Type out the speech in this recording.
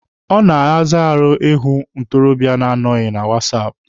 Ọ na-arazi ahụ ịhụ nwa ntorobịa na-anọghị na wasaapụ.